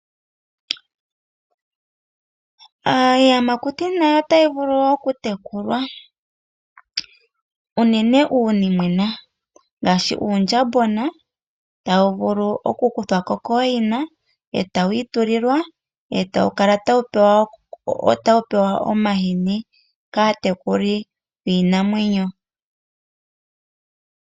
Iiyamakuti nayo otayi vulu okutekulwa unene uunimwena ngaashi uundjambona tawu vulu oku kuthwa ko kooyina e tawu itulilwa, e tawu kala tawu pewa omahini kaatekuli yiinamwenyo.